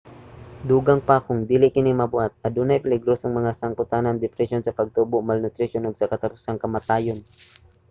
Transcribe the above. dugang pa kung dili kini mabuhat adunay peligrosong mga sangpotanan: depresyon sa pagtubo malnutrisyon ug sa katapusan kamatayon